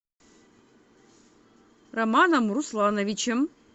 романом руслановичем